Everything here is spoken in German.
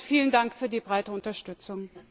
Vielen Dank für die breite Unterstützung!